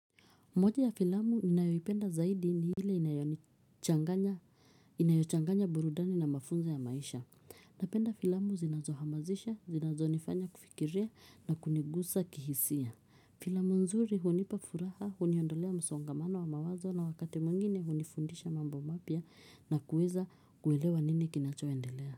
Moja ya filamu ninayoipenda zaidi ni ile inayochanganya burudani na mafunzo ya maisha. Napenda filamu zinazohamasisha, zinazonifanya kufikiria na kunigusa kihisia. Filamu nzuri hunipa furaha, huniondolea msongamano wa mawazo na wakati mwingine hunifundisha mambo mapya na kuweza kuelewa nini kinachoendelea.